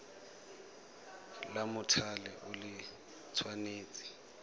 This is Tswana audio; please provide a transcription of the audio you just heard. la mothale o le tshwanetse